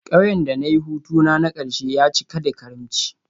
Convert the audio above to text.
Kauyen da na yi hutuna na karshe ya cika da karimci